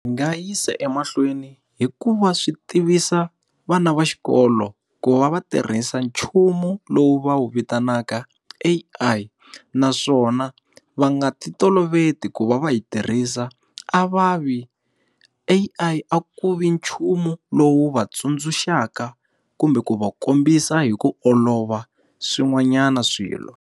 Hi nga yisa emahlweni hikuva swi tivisa vana va xikolo ku va va tirhisa nchumu lowu va wu vitanaka A_I. Naswona va nga ti toloveti ku va va yi tirhisa a va vi A_I ku vi nchumu lowu wu va tsundzuxaka kumbe ku va kombisa hi ku olova swin'wanyana swilo.